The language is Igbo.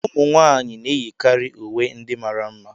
Ụmụ nwanyị na-eyikarị uwe ndị mara mma